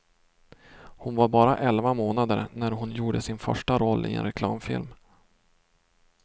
Hon var bara elva månader när hon gjorde sin första roll i en reklamfilm.